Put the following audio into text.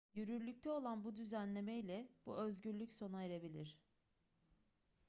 yürürlükte olan bu düzenlemeyle bu özgürlük sona erebilir